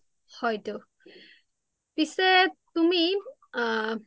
হয় টো পিছে তুমি আ